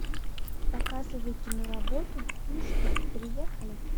показывай киноработу ну что приехали